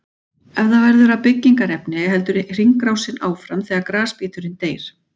Ef það verður að byggingarefni heldur hringrásin áfram þegar grasbíturinn deyr.